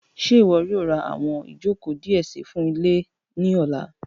Ṣe iwọ yoo ra awọn ijoko diẹ sii fun ile ni ọla?